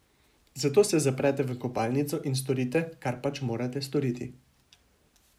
Zato se zaprete v kopalnico in storite, kar pač morate storiti.